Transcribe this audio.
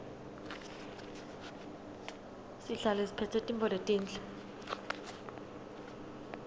sihlale siphetse tintfo letinhle